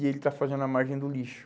E ele está fazendo a margem do lixo.